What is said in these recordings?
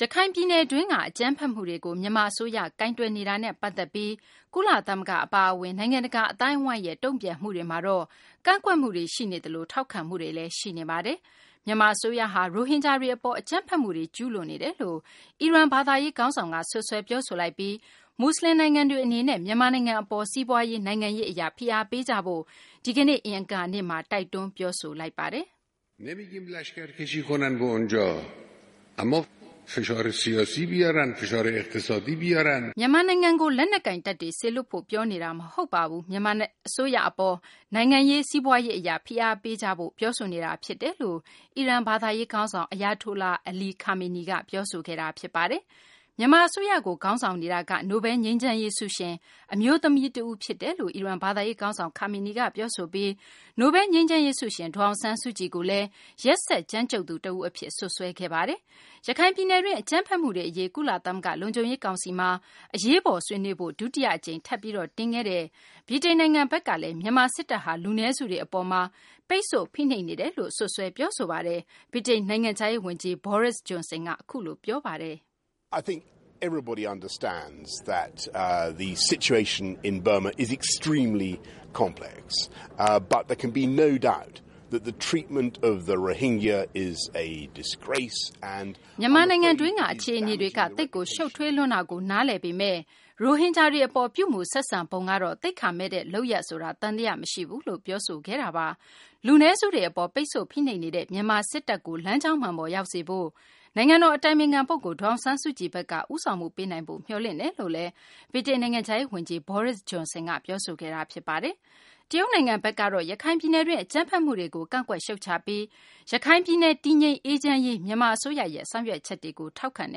ရခိုင်ပြည်နယ်တွင်းက အကြမ်းဖက်မှုတွေကို မြန်မာ အစိုးရရဲ့ ကိုင်တွယ်မှုနဲ့ ပတ်သက်ပြီး ကုလသမဂ္ဂ အပါအဝင် နိုင်ငံတကာ အသိုင်းအဝိုင်းရဲ့တုံ့ပြန်မှုတွေမှာတော့ ကန့်ကွက်မှုတွေရှိနေသလို ထောက်ခံမှုတွေလည်း ရှိနေပါတယ်။ မြန်မာ အစိုးရဟာ ရိုဟင်ဂျာတွေ အပေါ် အကြမ်းဖက်မှုတွေ ကျူးလွန်နေတယ်လို့ အီရန် ဘာသာရေး ခေါင်းဆောင်က စွပ်စွဲ ပြောဆိုလိုက်ပြီး မူဆလင် နိုင်ငံတွေ အနေနဲ့ မြန်မာနိုင်ငံ အပေါ် စီးပွားရေး၊ နိုင်ငံရေး အရ ဖိအားပေးကြဖို့ ဒီကနေ့ အင်္ဂါနေ့မှာ တိုက်တွန်း ပြောဆိုလိုက်ပါတယ်။ သြဇာကြီးတဲ့ အီရန် ဘာသာရေး ခေါင်းဆောင် Ayatollah Ali Khamenei က အခုလို ပြောဆိုပါတယ်။ "မြန်မာနိုင်ငံကို လက်နက်ကိုင်တပ်တွေ စေလွှတ်ဖို့ ပြောနေတာ မဟုတ်ပါဘူး။ မြန်မာ အစိုးရ အပေါ် နိုင်ငံရေး၊ စီးပွားရေး အရ ဖိအားပေးကြဖို့ ပြောဆိုနေတာ ဖြစ်ပါတယ်"လို့ အီရန် ဘာသာရေး ခေါင်းဆောင်က ပြောဆိုခဲ့တာပါ။ မြန်မာအစိုးရကို ခေါင်းဆောင်နေတာက နိုဘဲလ် ငြိမ်းချမ်းရေး ဆုရှင် အမျိုးသမီးတဦး ဖြစ်တယ်လို့ အီရန် ဘာသာရေး ခေါင်းဆောင် ခါမေနီက ပြောဆိုပြီး နိုဘဲလ်ငြိမ်းချမ်းရေး ဆုရှင် ဒေါ်အောင်ဆန်းစုကြည်ကိုလည်း ရက်စက်ကြမ်းကြုတ်သူ တဦး အဖြစ် စွပ်စွဲခဲ့တာပါ။ ရခိုင်ပြည်နယ်တွင်း အကြမ်းဖက်မှုတွေ အရေး ကုလသမဂ္ဂ လုံခြုံရေး ကောင်စီမှာ အရေးပေါ် ဆွေးနွေးဖို့ ဒုတိယ အကြိမ်တင်ခဲ့တဲ့ ဗြိတိန်နိုင်ငံ ဘက်ကလည်း မြန်မာ စစ်တပ်ဟာ လူနည်းစုတွေ အပေါ်မှာ ပိတ်ဆို့ ဖိနှိပ် နေတယ်လို့ စွပ်စွဲ ပြောဆိုပါတယ်။ ဗြိတိန် နိုင်ငံခြားရေး ဝန်ကြီး Boris Johnson က "မြန်မာနိုင်ငံတွင်းက အခြေအနေတွေက သိပ်ကို ရှုပ်ထွေးလွန်းတာကို နားလည်ပေမယ့် ရိုဟင်ဂျာတွေ အပေါ် ပြုမူဆက်ဆံပုံကတော့ သိက္ခာမဲ့တဲ့ လုပ်ရပ်ဆိုတာ သံသယ မရှိဘူးလို့ ပြောဆိုခဲ့တာပါ။ လူနည်းစုတွေ အပေါ် ပိတ်ဆို့ ဖိနှိပ်နေတဲ့ မြန်မာ စစ်တပ်ကို လမ်းကြောင်းမှန်ပေါ် ရောက်စေဖို့ နိုင်ငံတော် အတိုင်ပင်ခံ ပုဂ္ဂိုလ် ဒေါ်အောင်ဆန်းစုကြည်ဘက်က ဦးဆောင်မှု ပေးနိုင်ဖို့ မျှော်လင့်တယ်"လို့ ဗြိတိန် နိုင်ငံခြားရေး ဝန်ကြီး Boris Johnson က ပြောဆိုခဲ့တာပါ။ တရုတ်နိုင်ငံဘက်ကတော့ ရခိုင်ပြည်နယ်တွင်း အကြမ်းဖက်မှုတွေကို ကန့်ကွက် ရှုတ်ချပြီး ရခိုင်ပြည်နယ် တည်ငြိမ်အေးချမ်းရေး မြန်မာ အစိုးရရဲ့ ဆောင်ရွက်ချက်တွေကို ထောက်ခံတ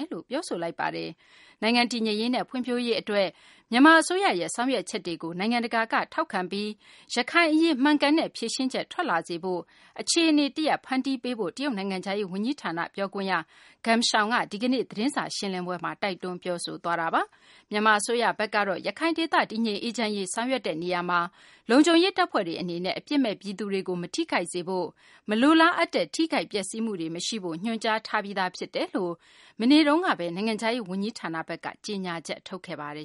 ယ်လို့ ပြောဆိုပါတယ်။ နိုင်ငံတည်ငြိမ်ရေးနဲ့ ဖွံ့ဖြိုးရေး အတွက် မြန်မာ အစိုးရဲ့ ဆောင်ရွက်ချက်တွေကို နိုင်ငံတကာက ထောက်ခံပြီး ရခိုင်အရေး မှန်ကန်တဲ့ ဖြေရှင်းချက်ထွက်လာစေရေး အခြေအနေ တရပ်ကို ဖန်တီးပေးဖို့ကိုလည်းတရုတ်နိုင်ငံခြားရေး ဝန်ကြီးဌာန ပြောခွင့်ရ Geng Shuang က ဒီကနေ့ သတင်းစာရှင်းလင်းပွဲမှာ ပြောဆိုသွားပါတယ်။ မြန်မာ အစိုးရဘက်ကတော့ ရခိုင်ဒေသ တည်ငြိမ်အေးချမ်းရေး ဆောင်ရွက်တဲ့ နေရာမှာ လုံခြုံရေး တပ်ဖွဲ့တွေ အနေနဲ့ အပြစ်မဲ့ ပြည်သူတွေကို မထိခိုက်စေဖို့၊ မလိုလားအပ်တဲ့ ထိခိုက်ပျက်စီးမှုတွေ မရှိစေဖို့ ညွှန်ကြားထားတယ်လို့ မနေ့က နိုင်ငံခြားရေး ဝန်ကြီးဌာန ဘက်က ကြေညာချက် ထုတ်ခဲ့ပါတယ်